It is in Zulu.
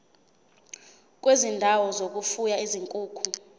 kwezindawo zokufuya izinkukhu